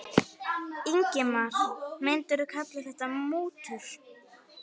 Ingimar: Myndirðu kalla þetta mútur?